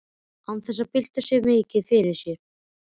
Og án þess að bylta því mikið fyrir sér.